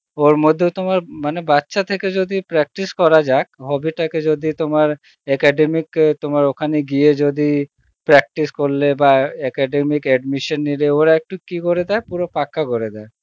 ওর মধ্যেও তোমার মানে বাচ্চা থেকে যদি practice করা যাক hobby টাকে যদি তোমার academic তোমার ওখানে গিয়ে যদি practice করলে বা academic admission নিলে ওরা একটু কি করে দেয় পুরো পাক্কা করে দেয়